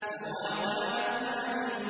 ذَوَاتَا أَفْنَانٍ